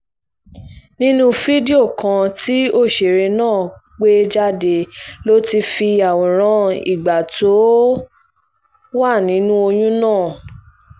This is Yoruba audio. nínú fídíò kan tí òṣèré náà gbé jáde ló ti fi àwòrán ìgbà tó wà nínú oyún hàn